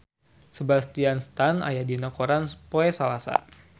Sebastian Stan aya dina koran poe Salasa